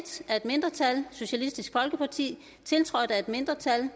af et mindretal tiltrådt af et mindretal